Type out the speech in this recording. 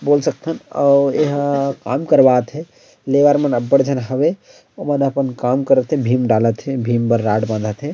बोल सकथन अऊ एहा काम करवाथे लेवर मन अब्बड़ झन हवे ओमन अपन काम करा थे भीम डाला थे भीम बर राड बना थे।